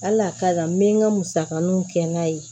Hali a ka kan n bɛ n ka musakaninw kɛ n'a ye